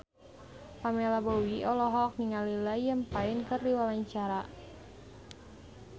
Pamela Bowie olohok ningali Liam Payne keur diwawancara